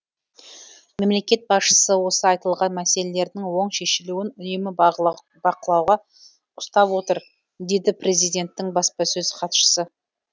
мемлекет басшысы осы айтылған мәселелердің оң шешілуін үнемі бақылауда ұстап отыр деді президенттің баспасөз хатшысы